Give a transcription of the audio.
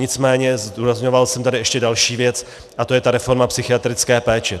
Nicméně zdůrazňoval jsem tady ještě další věc a to je ta reforma psychiatrické péče.